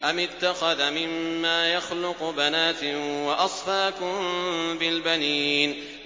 أَمِ اتَّخَذَ مِمَّا يَخْلُقُ بَنَاتٍ وَأَصْفَاكُم بِالْبَنِينَ